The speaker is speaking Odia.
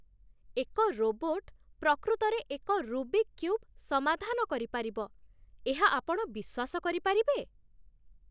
ଏକ ରୋବୋଟ୍ ପ୍ରକୃତରେ ଏକ 'ରୁବିକ୍ କ୍ୟୁବ୍' ସମାଧାନ କରିପାରିବ, ଏହା ଆପଣ ବିଶ୍ୱାସ କରିପାରିବେ?